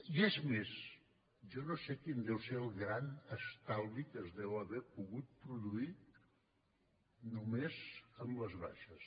i és més jo no sé quin deu ser el gran estalvi que es deu haver pogut produir només amb les baixes